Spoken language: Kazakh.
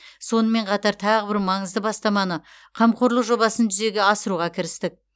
сонымен қатар тағы бір маңызды бастаманы қамқорлық жобасын жүзеге асыруға кірістік